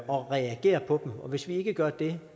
og reagere på dem og hvis vi ikke gør det